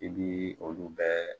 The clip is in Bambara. I bi olu bɛɛ